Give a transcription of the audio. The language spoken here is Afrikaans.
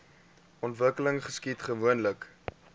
ontwikkeling geskied gewoonlik